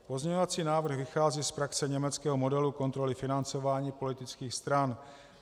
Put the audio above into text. Pozměňovací návrh vychází z praxe německého modelu kontroly financování politických stran.